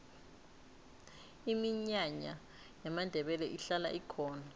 iminyanya yamandebele ihlala ikhona